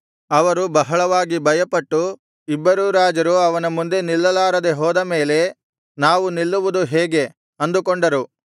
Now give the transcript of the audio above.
ಅವರು ಬಹಳವಾಗಿ ಭಯಪಟ್ಟು ಇಬ್ಬರೂ ರಾಜರು ಅವನ ಮುಂದೆ ನಿಲ್ಲಲಾರದೆ ಹೋದಮೇಲೆ ನಾವು ನಿಲ್ಲುವುದು ಹೇಗೆ ಅಂದುಕೊಂಡರು